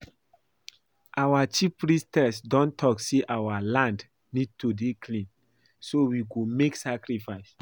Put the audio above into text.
Our chief Priestess don talk say our land need to dey clean so we go make sacrifices